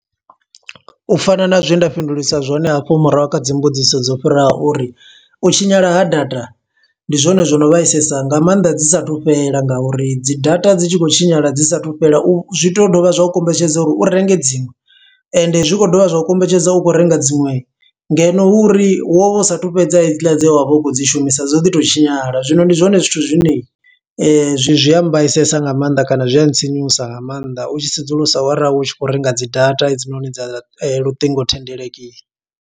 U fana na zwe nda fhindulisa zwone hafho murahu kha dzi mbudziso dzo fhiraho uri, u tshinyala ha data ndi zwone zwo no vhaisesa nga maanḓa dzi sathu fhela. Nga uri dzi data dzi tshi khou tshinyala dzi sathu fhela u, zwi to dovha zwa u kombetshedza uri u renge dziṅwe. Ende zwi khou dovha zwa u kombetshedza, u khou renga dziṅwe ngeno hu uri, wo vha u sathu fhedza hedziḽa dze vha u khou dzi shumisa, dzo ḓi to tshinyala. Zwino ndi zwone zwithu zwine zwi zwi a mbaisesa nga maanḓa kana zwi a ntsinyusa nga maanḓa, u tshi sedzulusa ara u tshi khou renga dzi data hedzinoni dza luṱingothendeleki.